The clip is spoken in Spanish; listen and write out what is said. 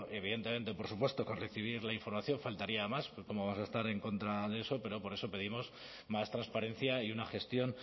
evidentemente por supuesto con recibir la información faltaría más cómo vamos a estar en contra de eso pero por eso pedimos más transparencia y una gestión